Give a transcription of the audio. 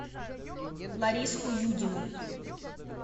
лариску юдину